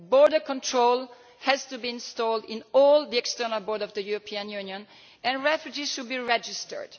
stay. Border controls have to be installed on all the external borders of the European Union and refugees should be registered.